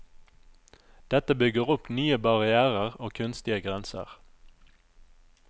Dette bygger opp nye barrièrer og kunstige grenser.